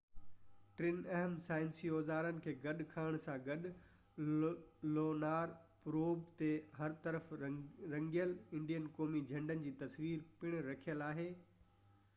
ٽن اهم سائنسي اوزارن کي گڏ کڻڻ سان گڏ لونار پروب تي هر طرف رنگيل انڊين قومي جهنڊي جي تصوير پڻ رکيل آهي